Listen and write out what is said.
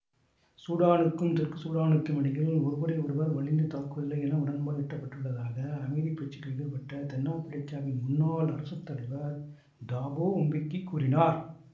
சூடானுக்கும் தெற்கு சூடானுக்கும் இடையில் ஒருவரை ஒருவர் வலிந்து தாக்குவதில்லை என உடன்பாடு எட்டப்பட்டுள்ளதாக அமைதி பேச்சுக்களில் ஈடுபட்ட தென்னாப்பிரிக்காவின் முன்னாள் அரசு தலைவர் தாபோ உம்பெக்கி கூறினார்